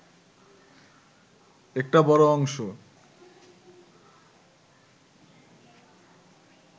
একটা বড় অংশ